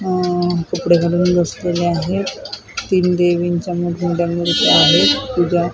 अह कपडे घालून बसलेले आहेत तीन देवींच्या मोठमोठ्या मूर्त्या आहेत पूजा --